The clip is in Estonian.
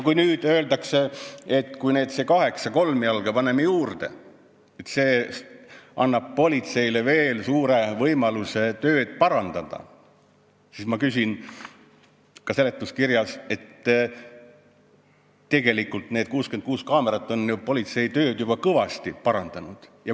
Kui öeldakse, et kui me nüüd kaheksa kolmjalga juurde paneme, siis see annab politseile veel suure võimaluse tööd parandada, siis ka seletuskirja järgi on need 66 kaamerat ju politsei tööd juba kõvasti parandanud.